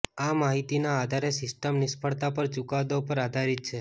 આ માહિતીના આધારે સિસ્ટમ નિષ્ફળતા પર ચુકાદો પર આધારિત છે